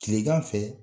Kilegan fɛ